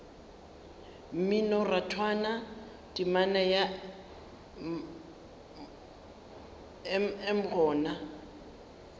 mminorathwana temana ya mm gona